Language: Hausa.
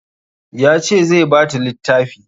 Ya ce zai ba ta littafi